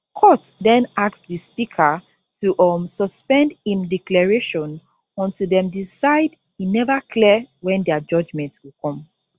court den ask di speaker to um suspend im declaration until dem decide e never clear wen dia judgement go come